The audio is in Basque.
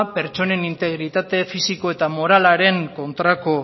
pertsonen integritate fisiko eta moralaren kontrako